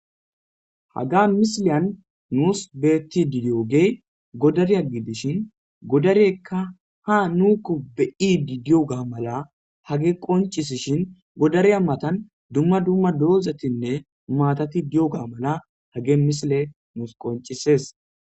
haga misileyan nuus beettidi di7ogey godariya giidishin godareykka ha nuukko be7idi diyoga mala hagey qoncisishin godariya matan dumma dumma doozetinne maatati diyoga mala hagey misiley nuus qoncises